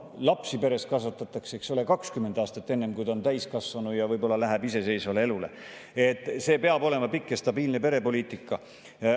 Ja noh, lapsi peres kasvatatakse, eks ole, 20 aastat, enne kui nad on täiskasvanud ja lähevad iseseisvale elule – see peab olema pikk ja stabiilne perepoliitika.